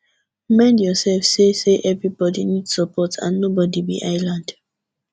remind yourself sey sey everybody need support and nobody be island